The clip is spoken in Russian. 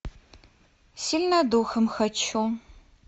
сильная духом хочу